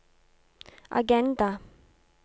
agenda